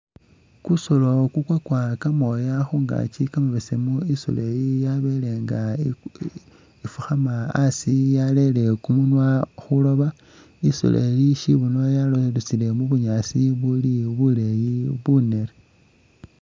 Kusolo kukwakwa kamooya khungaaki kamabesemu khungaaki, isolo iyi yabele nga ibu ih ifukhama asi yalele kumunwa khwiloba, i'solo eyi syibuno yalosile mu bunyaasi buli buleeyi bunere.